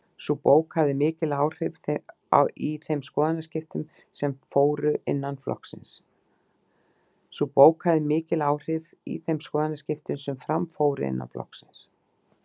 Sú bók hafði mikil áhrif í þeim skoðanaskiptum sem fram fóru innan flokksins.